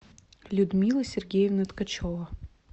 людмила сергеевна ткачева